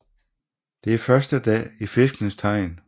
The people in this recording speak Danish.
Det er første dag i Fiskenes tegn